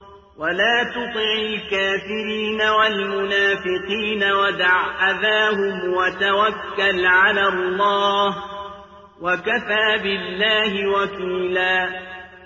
وَلَا تُطِعِ الْكَافِرِينَ وَالْمُنَافِقِينَ وَدَعْ أَذَاهُمْ وَتَوَكَّلْ عَلَى اللَّهِ ۚ وَكَفَىٰ بِاللَّهِ وَكِيلًا